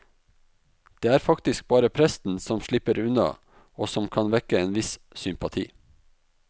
Det er faktisk bare presten som slipper unna og som kan vekke en viss sympati.